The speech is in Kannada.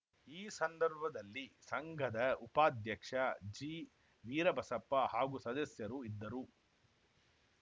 ಈ ಸಂದರ್ಭದಲ್ಲಿ ಸಂಘದ ಉಪಾದ್ಯಕ್ಷ ಜಿವೀರಬಸಪ್ಪ ಹಾಗೂ ಸದಸ್ಯರು ಇದ್ದರು